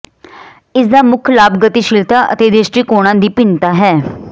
ਇਸ ਦਾ ਮੁੱਖ ਲਾਭ ਗਤੀਸ਼ੀਲਤਾ ਅਤੇ ਦ੍ਰਿਸ਼ਟੀਕੋਣਾਂ ਦੀ ਭਿੰਨਤਾ ਹੈ